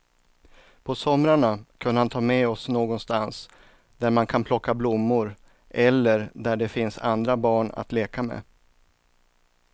På somrarna kunde han ta med oss någonstans där man kan plocka blommor eller där det finns andra barn att leka med.